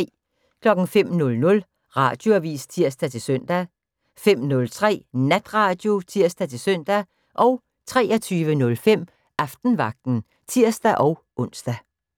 05:00: Radioavis (tir-søn) 05:03: Natradio (tir-søn) 23:05: Aftenvagten (tir-ons)